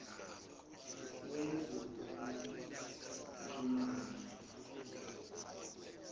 wezokuxhumana